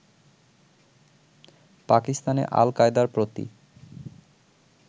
পাকিস্তানে আল কায়দার প্রতি